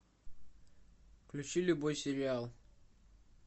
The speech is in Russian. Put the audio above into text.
включи любой сериал